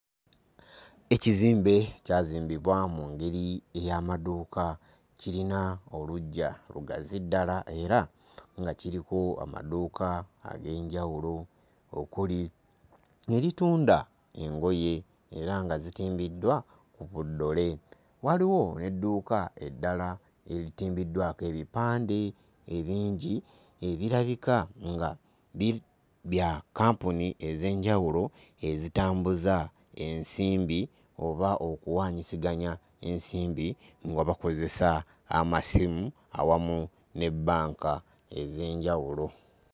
Ekizimbe kyazimbibwa mu ngeri ey'amaduuka, kirina oluggya lugazi ddala era nga kiriko amaduuka ag'enjawulo okuli eritunda engoye era nga zitimbiddwa ku buddole. Waliwo n'edduuka eddala eritimbiddwako ebipande ebingi ebirabika nga bi... bya kampuni ez'enjawulo ezitambuza ensimbi oba okuwaanyisiganya ensimbi nga bakozesa amasimu awamu ne bbanka ez'enjawulo.